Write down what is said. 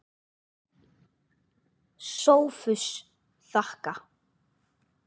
SOPHUS: Þakka.